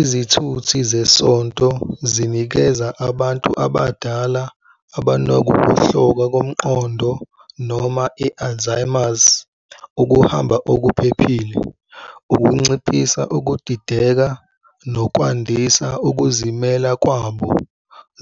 Izithuthi zesonto zinikeza abantu abadala abanokuwohloka komqondo noma i-alzheimers ukuhamba okuphephile, ukunciphisa ukudideka, nokwandisa ukuzimela kwabo.